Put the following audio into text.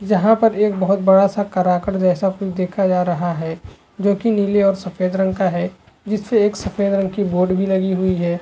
यहाँ पर एक बहुत बड़ा सा जैसा कुछ देखा जा रहा है जो की नीले और सफेद रंग का है जिसपे एक सफ़ेद रंग की बोर्ड भी लगी हुई है।